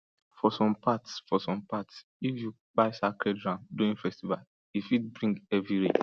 for some parts for some parts if you kpai sacred ram during festival e fit bring heavy rain